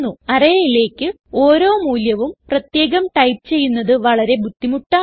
arrayയിലേക്ക് ഓരോ മൂല്യവും പ്രത്യേകം ടൈപ്പ് ചെയ്യുന്നത് വളരെ ബുദ്ധിമുട്ടാണ്